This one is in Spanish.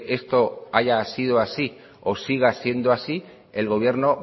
esto haya sido así o siga siendo así el gobierno